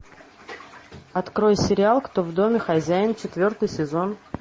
открой сериал кто в доме хозяин четвертый сезон